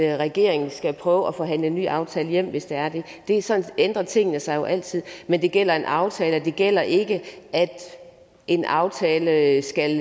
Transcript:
regeringen skal prøve at forhandle en ny aftale hjem hvis det er det sådan ændrer tingene sig jo altid men det gælder en aftale det gælder ikke at en aftale skal